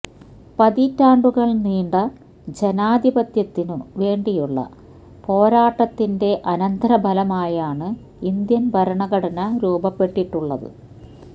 പതിറ്റാണ്ടുകള് നീണ്ട ജനാധിപത്യത്തിനു വേണ്ടിയുള്ള പോരാട്ടത്തിന്റെ അനന്തരഫലമായാണ് ഇന്ത്യന് ഭരണഘടന രൂപപ്പെട്ടിട്ടുള്ളത്